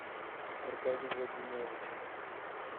аркадий владимирович